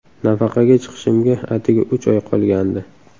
Nafaqaga chiqishimga atigi uch oy qolgandi.